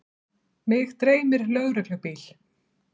Mig dreymir lögreglubíl.